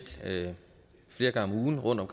flere gange om ugen rundt